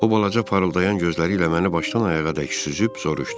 O balaca parıldayan gözləri ilə məni başdan ayağadək süzüb soruşdu: